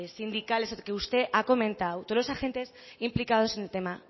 sindicales que usted ha comentado todos los agentes implicados en el tema